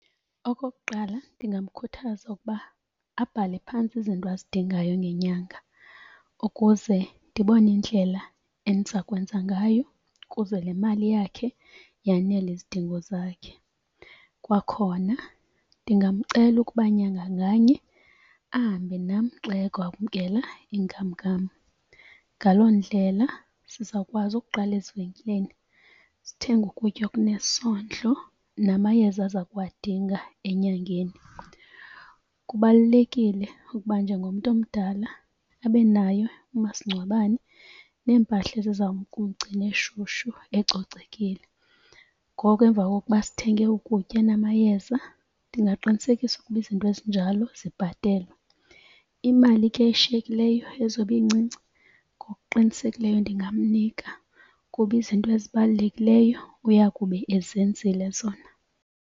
Okokuqala ndingamkhuthaza ukuba abhale phantsi izinto azidingayo ngenyanga ukuze ndibone indlela endiza kwenza ngayo kuze le mali yakhe yanele izidingo zakhe. Kwakhona ndingamcela ukuba nyanga nganye ahambe nam xa eyokwamkela inkamnkam. Ngaloo ndlela sizawukwazi ukuqala ezivenkileni sithenge ukutya okunesondlo namayeza aza kuwadinga enyangeni. Kubalulekile ukuba njengomntu omdala abe nayo umasingcwabane neempahla eziza kumgcina eshushu ecocekile. Ngoko emva kokuba sithenge ukutya namayeza ndingaqinisekisa ukuba izinto ezinjalo zibhatelwe. Imali ke eshiyekileyo ezobe incinci, ngokuqinisekileyo ndingamnika kuba izinto ezibalulekileyo uya kube ezenzile zona.